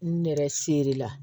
Nɛrɛ serila